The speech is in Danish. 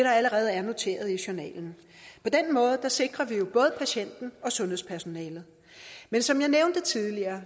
allerede er noteret i journalen på den måde sikrer vi jo både patienten og sundhedspersonalet men som jeg nævnte tidligere